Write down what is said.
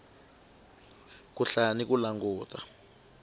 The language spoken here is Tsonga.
ku hlaya ni ku languta